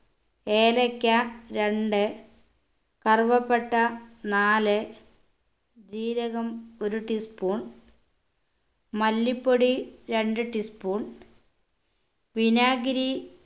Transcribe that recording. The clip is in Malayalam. ഏലയ്ക്ക രണ്ട് കറുവപ്പട്ട നാല് ജീരകം ഒരു tea spoon മല്ലിപ്പൊടി രണ്ട് tea spoon വിനാഗിരി